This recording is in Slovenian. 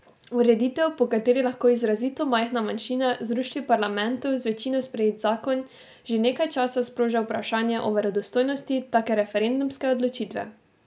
Ureditev, po kateri lahko izrazito majhna manjšina zruši v parlamentu z večino sprejet zakon, že nekaj časa sproža vprašanje o verodostojnosti take referendumske odločitve.